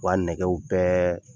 Wa nɛgɛw bɛɛ